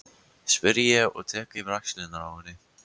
spyr ég og tek yfir axlirnar á henni.